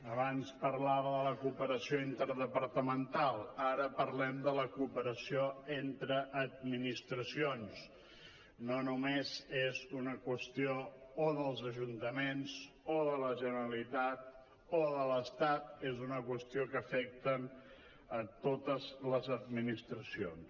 abans parlava de la cooperació interdepartamental ara parlem de la cooperació entre administracions no només és una qüestió o dels ajuntaments o de la generalitat o de l’estat és una qüestió que afecta totes les administracions